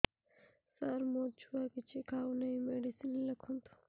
ସାର ମୋ ଛୁଆ କିଛି ଖାଉ ନାହିଁ ମେଡିସିନ ଲେଖନ୍ତୁ